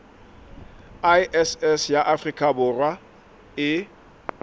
iss ya afrika borwa e